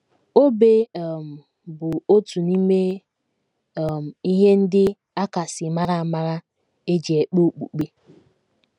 OBE um bụ otu n’ime um ihe ndị a kasị mara amara e ji ekpe okpukpe.